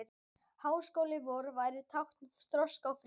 Háskóli vor væri tákn þroska og friðar.